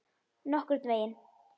Nokkurn veginn.